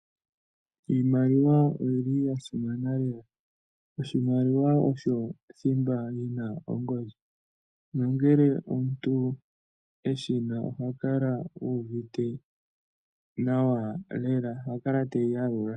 Iimaliwa oyili ya simana lela oshoka oshimaliwa osho thimba lina ongodhi, nongele omuntu eshina ohakala uuvite nawa lela nohakala teyi yalula.